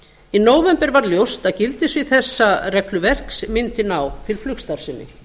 í nóvember varð ljóst að gildissvið þessa regluverks mundi ná til flugstarfsemi